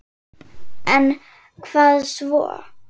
En hvað svo??